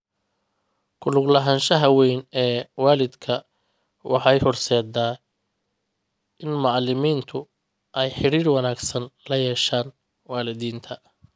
Ku lug lahaanshaha weyn ee waalidka waxay horseedaa in macalimiintu ay xiriir wanaagsan la yeeshaan waalidiinta.